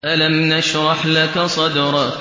أَلَمْ نَشْرَحْ لَكَ صَدْرَكَ